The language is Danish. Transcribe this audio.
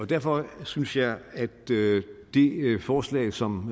derfor synes jeg at det forslag som